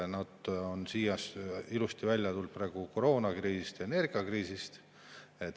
Nad on ilusti välja tulnud koroonakriisist ja energiakriisist.